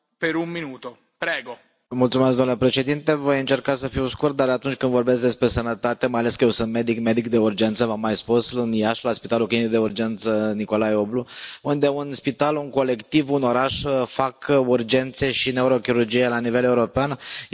Domnule președinte, voi încerca să fiu scurt, dar atunci când vorbesc despre sănătate, mai ales că sunt medic, medic de urgență, v am mai spus, în Iași, la Spitalul Clinic de Urgență Nicolae Oblu, unde un spital, un colectiv, un oraș fac urgențe și neurochirurgie la nivel european, este foarte greu să faci acest lucru.